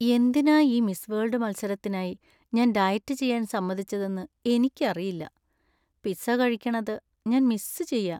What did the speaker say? എന്തിനാ ഈ miss world മത്സരത്തിനായി ഞാൻ ഡയറ്റ് ചെയ്യാൻ സമ്മതിച്ചതെന്ന് എനിക്കറിയില്ല. പിസ്സ കഴിക്കണത് ഞാൻ മിസ്സ് ചെയ്യാ .